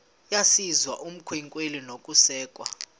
yesizwe ukwamkelwa nokusekwa